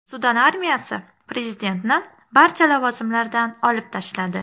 Sudan armiyasi prezidentni barcha lavozimlardan olib tashladi.